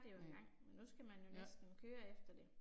Næ. Ja